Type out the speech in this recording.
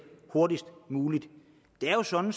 hurtigst muligt der er jo sådan